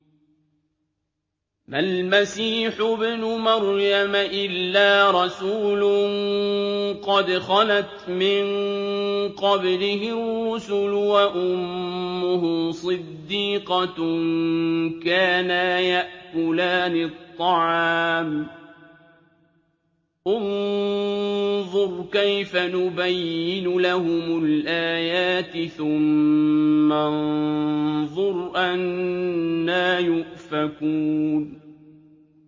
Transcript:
مَّا الْمَسِيحُ ابْنُ مَرْيَمَ إِلَّا رَسُولٌ قَدْ خَلَتْ مِن قَبْلِهِ الرُّسُلُ وَأُمُّهُ صِدِّيقَةٌ ۖ كَانَا يَأْكُلَانِ الطَّعَامَ ۗ انظُرْ كَيْفَ نُبَيِّنُ لَهُمُ الْآيَاتِ ثُمَّ انظُرْ أَنَّىٰ يُؤْفَكُونَ